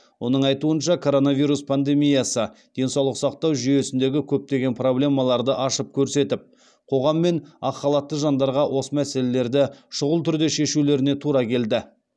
оның айтуынша коронавирус пандемиясы денсаулық сақтау жүйесіндегі көптеген проблемаларды ашып көрсетіп қоғам мен ақ халатты жандарға осы мәселелерді шұғыл түрде шешулеріне тура келді